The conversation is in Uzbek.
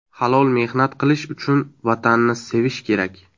Halol mehnat qilish uchun Vatanni sevish kerak.